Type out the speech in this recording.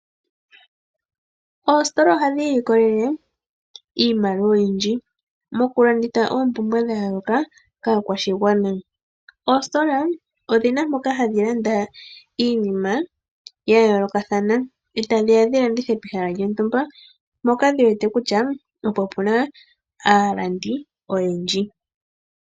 Oositola ohadhi ilikolele iimaliwa oyindji moku landitha oompumbwe dha yooloka kaakwashigwana. Oositola odhina mpoka hadhi landa iinima ya yoolokathana eta dhiya dhi landithe pehala lyontumba mpoka dhi wete kutya opo puna aalandi oyendji.